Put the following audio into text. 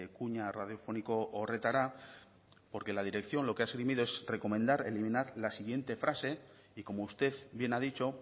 kuña radiofoniko horretara porque la dirección lo que ha esgrimido es recomendar eliminar la siguiente frase y como usted bien ha dicho